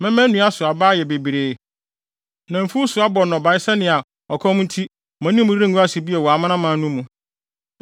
Mɛma nnua so aba ayɛ bebree na mfuw nso abɔ nnɔbae sɛnea ɔkɔm nti mo anim rengu ase bio wɔ amanaman no mu.